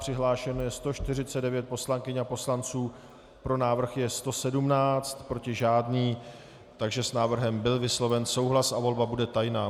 Přihlášeno je 149 poslankyň a poslanců, pro návrh je 117, proti žádný, takže s návrhem byl vysloven souhlas a volba bude tajná.